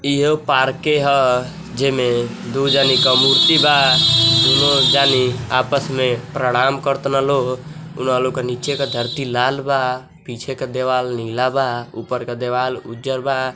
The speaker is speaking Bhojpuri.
इहो पार्के ह जेमें दू जानि क मूर्ति बा दुनो जानी आपस में प्रमाण कर तान लोग। उन्हा लोग क नीचे क धरती लाल बा पीछे के देवाल नीला बा ऊपर क देवाल उज्जर बा।